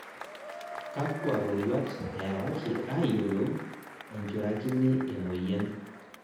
Kakwa roruat ewaaki ayiolou enjurakini emoyian?